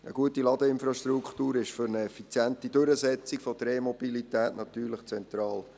Eine gute Ladeinfrastruktur ist für eine effiziente Durchsetzung der E-Mobilität natürlich zentral.